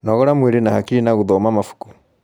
Nogora mwĩrĩ na hakiri na guthoma mabuku